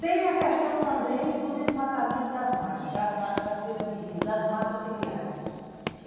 Tem a questão também do desmatamento das margens, das beiras de rio, das matas ciliares.